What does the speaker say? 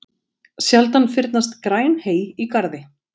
Sjaldan fyrnast græn hey í garði.